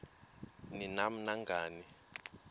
ni nam nangani